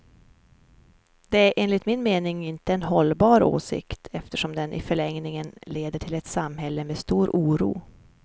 Det är enligt min mening inte en hållbar åsikt, eftersom den i förlängningen leder till ett samhälle med stor oro.